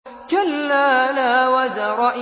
كَلَّا لَا وَزَرَ